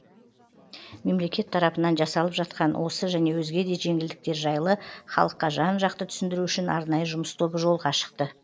мемлекет тарапынан жасалып жатқан осы және өзге де жеңілдіктер жайлы халыққа жан жақты түсіндіру үшін арнайы жұмыс тобы жолға шықты